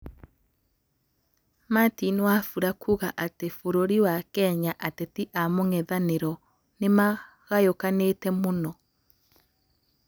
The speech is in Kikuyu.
Gĩthurano Kenya: Martin Wafula kuuga atĩ bũrũri wa Kenya ateti a mugethanĩro nimagayũkanĩte mũno.